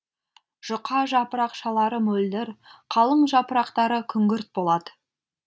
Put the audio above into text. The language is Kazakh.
жұқа жапырақшалары мөлдір қалың жапырақтары күңгірт болады